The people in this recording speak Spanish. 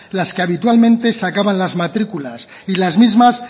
las que habitualmente sacaban las matrículas y las mismas